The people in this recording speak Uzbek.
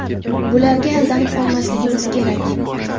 Bularga aldanib qolmasligimiz kerak.